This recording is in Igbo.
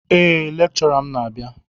Eé, lékchọrà m n'abia